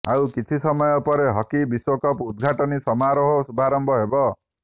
ଆଉ କିଛି ସମୟ ପରେ ହକି ବିଶ୍ୱକପ୍ ଉଦଘାଟନୀ ସମାରୋହର ଶୁଭାରମ୍ଭ ହେବ